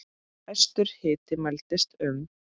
Hæstur hiti mældist um